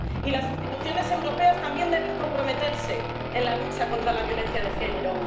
Y las instituciones europeas también deben comprometerse en la lucha contra la violencia de género.